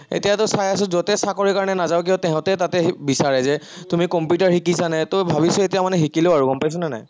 এতিয়াটো চাই আছো যতে চাকৰি কাৰনে নাযাওঁ কিয়া তাহাতে সেই বিচাৰে যে তুমি কম্পিউটাৰ শিকিছানে, ত ভাবিছো এতিয়া মানে শিকি লওঁ গম পাইছনে নাই।